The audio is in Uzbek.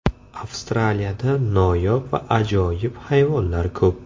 Avstraliyada noyob va ajoyib hayvonlar ko‘p.